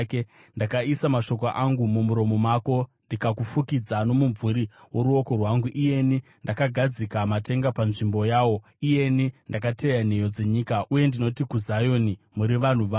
Ndakaisa mashoko angu mumuromo mako, ndikakufukidza nomumvuri woruoko rwangu, iyeni ndakagadzika matenga panzvimbo yawo, iyeni ndakateya nheyo dzenyika, uye ndinoti kuZioni, ‘Muri vanhu vangu.’ ”